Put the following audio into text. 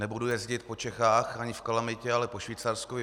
Nebudu jezdit po Čechách ani v kalamitě, ale po Švýcarsku.